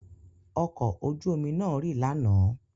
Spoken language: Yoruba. Ọkọ̀ ojú omi náà rì lánàá.